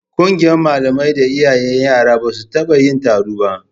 Ƙungiyar malamai da iyayen yaran ba su taɓa yin taro ba